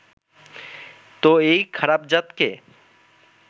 তো এই খারাপ-জাতকে